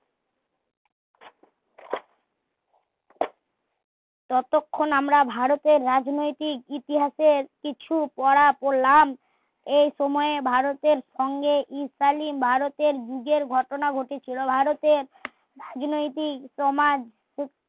যতক্ষণ আমরা ভারতের রাজনৈতিক ইতিহাসের কিছু পড়া পড়লাম এই সময়ে ভারতের সঙ্গে এই কালীন ভারতের যুগের ঘটনা ঘটেছিলো ভারতের রাজনৈতিক সমাজ